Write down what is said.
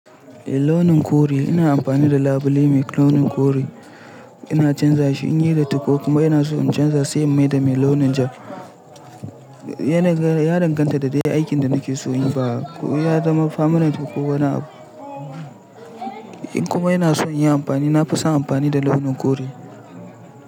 Eh launin kore ina amfani da labule mai launin kore ina canza shi in yayi datti ko kuma ina son in canza sai mai da mai launin jar. Ya danganta da dai aikin da nake so in yi ba. Ya zama permanent ko wani abu. In kuma ina son in yi amfani na fi son amfani da launin kore.